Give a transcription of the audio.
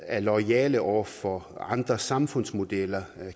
er loyale over for andre samfundsmodeller